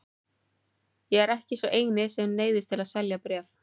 Ég er ekki sá eini sem neyðist til að selja bréf.